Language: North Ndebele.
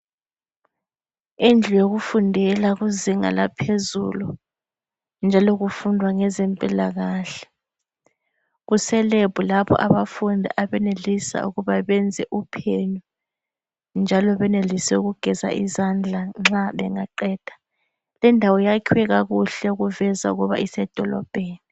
Indlu yokufundela kuzinga laphezulu njalo kufundwa ngezempilakahle. Kuselebhu lapho abafundi abenelisa ukuba benze uphenyo njalo benelise ukugeza izandla nxa bengaqeda .Lendawo yakhiwe kakuhle okuveza ukuba isedolobheni.